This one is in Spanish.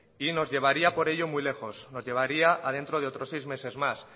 y nos llevaría por ello muy lejos nos llevaría a dentro de otros seis meses más